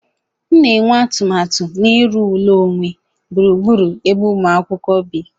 M na-enwe atụmatụ na-iru ụlọ onwe gburugburu ebe umu akwukwo bi